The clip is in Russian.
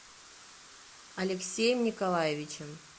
алексеем николаевичем